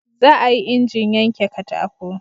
za a yi injin yanke katako